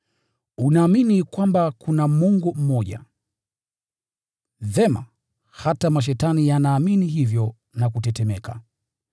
Unaamini kwamba kuna Mungu mmoja. Vyema! Hata mashetani yanaamini hivyo na kutetemeka.